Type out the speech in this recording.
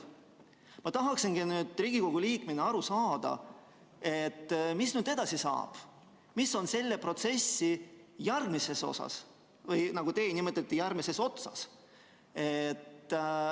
" Ma tahaksingi nüüd Riigikogu liikmena aru saada, mis nüüd edasi saab, mis on selle protsessi järgmises osas, või nagu teie nimetasite, järgmises otsas.